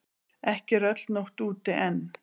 Ekki er öll nótt úti enn.